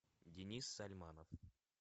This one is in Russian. денис сальманов